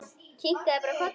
Kinkaði bara kolli.